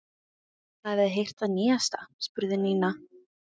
Hafið þið heyrt það nýjasta? spurði Nína.